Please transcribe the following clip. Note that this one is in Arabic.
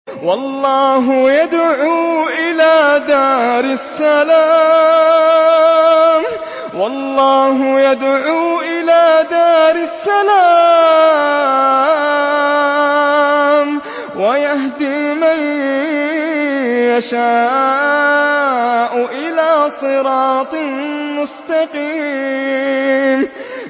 وَاللَّهُ يَدْعُو إِلَىٰ دَارِ السَّلَامِ وَيَهْدِي مَن يَشَاءُ إِلَىٰ صِرَاطٍ مُّسْتَقِيمٍ